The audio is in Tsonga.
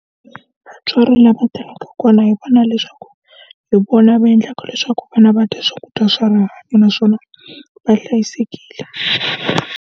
Vatswari lava tirhaka kona hi vona leswaku, hi vona va endlaka leswaku vana va dya swakudya swa rihanyo naswona va hlayisekile.